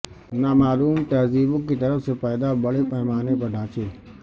نامعلوم تہذیبوں کی طرف سے پیدا بڑے پیمانے پر ڈھانچے